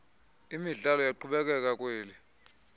imidlalo iyaqhubekeka kwel